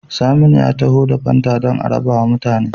Saminu ya taho da fanta dan a rabawa mutane